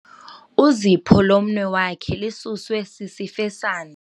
Uzipho lomnwe wakhe lisuswe sisifesane.